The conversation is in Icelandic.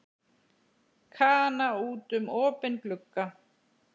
Kana út um opinn glugga.